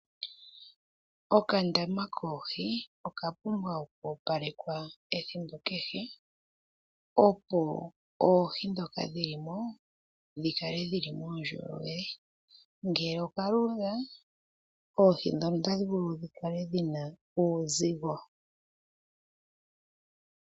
Okandama koohi okapumbwa oku opalekwa ethimbo kehe. Opo oohi ndhoka dhilimo dhikale dhili muundjolowele. Ngele oka luudha, oohi ndhono otadhi vulu dhikale dhina uuzigo.